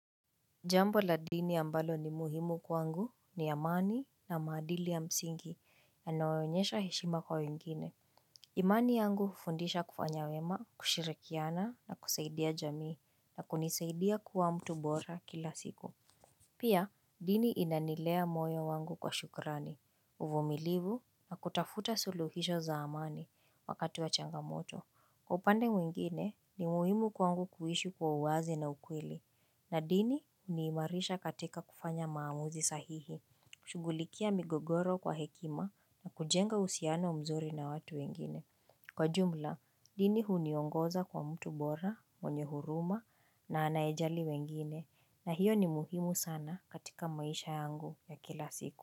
Jambo la dini ambalo ni muhimu kwangu ni amani na maadili ya msingi yanayoonyesha heshima kwa wengine. Imani yangu hufundisha kufanya wema, kushirikiana na kusaidia jamii na kunisaidia kuwa mtu bora kila siku. Pia dini inanilea moyo wangu kwa shukrani, uvumilivu na kutafuta suluhisho za amani wakati wa changamoto. Kwa upande mwingine, ni muhimu kwangu kuishi kwa uwazi na ukweli, na dini huniimarisha katika kufanya maamuzi sahihi, kushughulikia migogoro kwa hekima na kujenga uhusiano mzuri na watu wengine. Kwa jumla, dini huniongoza kwa mtu bora, mwenye huruma na anayejali wengine, na hiyo ni muhimu sana katika maisha yangu ya kila siku.